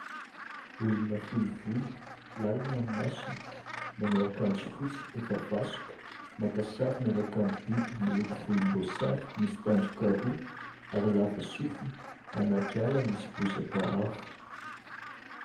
Olona fohy volo, lalina ny masony, manao akanjo fotsy efa vasoka. Maka sary miaraka amin'ny biby miloko volomboasary, misy tandroka roa ary lava sofina. Anaty ala misy bozaka avo.